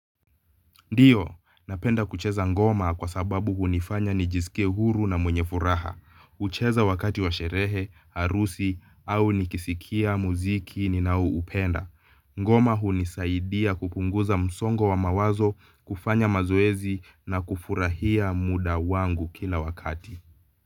Ndiyo, napenda kucheza ngoma kwa sababu hunifanya nijisikie huru na mwenye furaha, hucheza wakati wa sherehe, harusi au nikisikia muziki ninaoupenda. Ngoma hunisaidia kupunguza msongo wa mawazo, kufanya mazoezi na kufurahia muda wangu kila wakati.